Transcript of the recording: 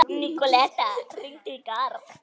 Nikoletta, hringdu í Garð.